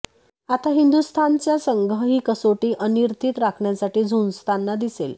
आता हिंदुस्थानचा संघ ही कसोटी अनिर्णित राखण्यासाठी झुंजताना दिसेल